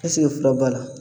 fura b'a la?